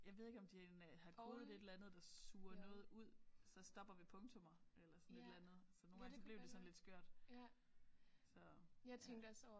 Jeg ved ikke om de har kodet et eller andet der suger noget ud så stopper ved punktummer eller sådan et eller andet så nogle gange så blev det sådan lidt skørt så ja